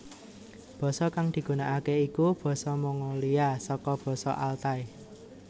Basa kang digunakake iku basa Mongolia saka basa Altai